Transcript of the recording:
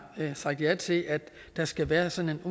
sagt ja til at der skal være sådan en